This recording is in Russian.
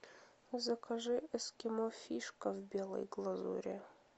закажи эскимо фишка в белой глазури